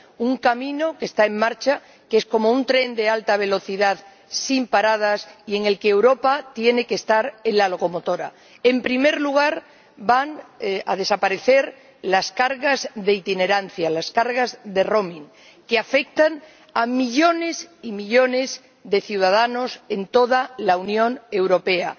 un camino que está en marcha, que es como un tren de alta velocidad sin paradas, y en el que Europa tiene que estar en la locomotora. En primer lugar, van a desaparecer los costes de itinerancia, los costes de roaming que afectan a millones y millones de ciudadanos en toda la Unión Europea.